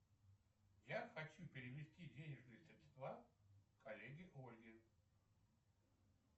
я хочу перевести денежные средства коллеге ольге